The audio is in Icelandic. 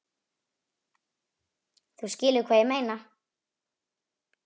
Þú skilur hvað ég meina.